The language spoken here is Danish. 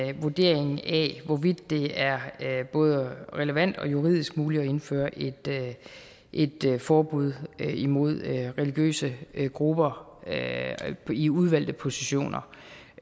en vurdering af hvorvidt det er både relevant og juridisk muligt at indføre et forbud imod religiøse grupper i udvalgte positioner